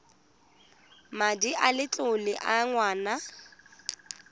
madi a letlole a ngwana